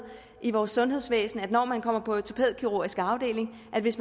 i vores sundhedsvæsen for når man kommer på ortopædkirurgisk afdeling at hvis